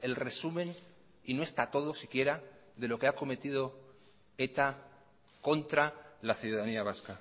el resumen y no está todo si quiera de lo que ha cometido eta contra la ciudadanía vasca